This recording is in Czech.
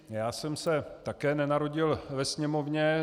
Já jsem se také nenarodil ve Sněmovně.